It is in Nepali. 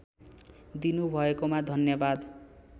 दिनु भएकोमा धन्यवाद